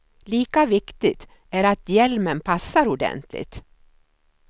Lika viktigt är att hjälmen passar ordentligt.